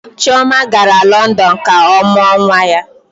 Chioma gara London ka ọ mụọ nwa ya.